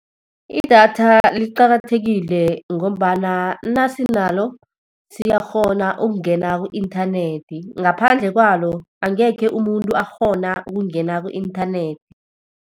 Idatha liqakathekile ngombana nasinalo, siyakghona ukungena ku-inthanethi. Ngaphandle kwalo, angekhe umuntu akghona ukungena ku-inthanethi.